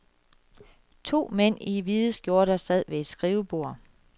To mænd i hvide skjorter sad ved et skrivebord.